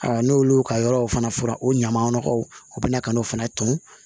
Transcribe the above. n'olu ka yɔrɔw fana fɔra o ɲaman nɔgɔw u bɛ na ka n'o fana ton